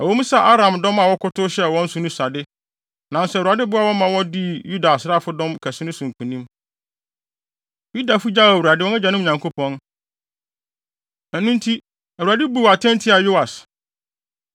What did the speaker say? Ɛwɔ mu sɛ Aram dɔm a wɔkɔtow hyɛɛ wɔn so no sua de, nanso Awurade boaa wɔn ma wodii Yuda asraafodɔm kɛse no so nkonim. Yudafo gyaw Awurade, wɔn agyanom Nyankopɔn, ɛno nti Awurade buu atɛn tiaa Yoas.